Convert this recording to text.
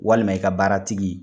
Walima i ka baara tigi.